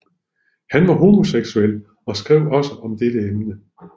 Han var homoseksuel og skrev også om dette emne